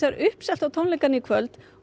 uppselt á tónleikana í kvöld og